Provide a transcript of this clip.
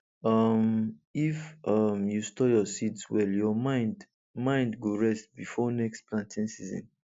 um if um you store your seeds well your mind mind go rest before next planting season